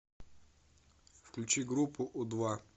включи группу у два